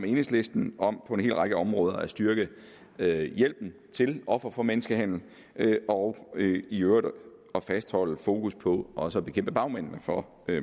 enhedslisten om på en hel række områder at styrke hjælpen til ofre for menneskehandel og i øvrigt om at fastholde fokus på også at bekæmpe bagmændene for